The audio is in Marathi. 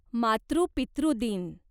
मातृ पितृ दिन